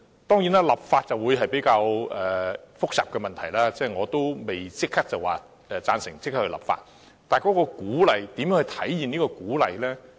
當然，立法是較為複雜的問題，我不會贊成立即立法，但如何體現這種鼓勵呢？